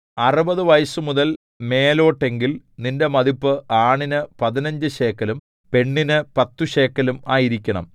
അറുപതു വയസ്സുമുതൽ മേലോട്ടെങ്കിൽ നിന്റെ മതിപ്പ് ആണിന് പതിനഞ്ചു ശേക്കെലും പെണ്ണിന് പത്തു ശേക്കെലും ആയിരിക്കണം